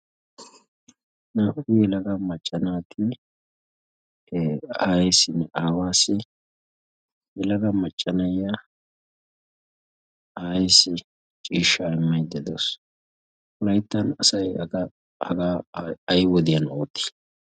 Naa''u yelaga macca naati aawassinne aayessi, yelaga macca na'iyaa aayessi ciishsha immaydda de'awus. wolayttan hagee ay wodiyaan ootti?